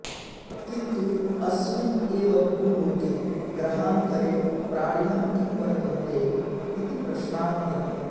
किन्तु अस्मिन् एव भूलोके ग्रहान्तरे प्राणिनः किं वर्त्तन्ते इति प्रश्नान्तरम्